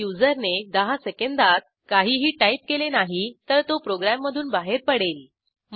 जर युजरने 10 सेकंदात काहीही टाईप केले नाही तर तो प्रोग्रॅममधून बाहेर पडेल